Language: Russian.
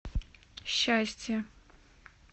счастье